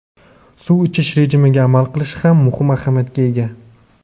suv ichish rejimiga amal qilish ham muhim ahamiyatga ega.